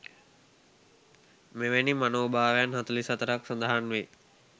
මෙවැනි මනෝභාවයන් 44 ක් සඳහන් වේ.